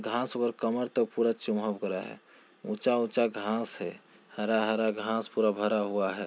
घास और कमर तक पूरा चमक रहा है ऊंचा ऊंचा घास है हरा-हरा घास पूरा भरा हुआ है।